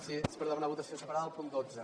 sí és per demanar votació separada del punt dotze